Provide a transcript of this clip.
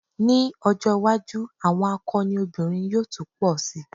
Ní ọjọ́́ iwájú àwọn akọni obìnrin yóò tún pọ̀ si.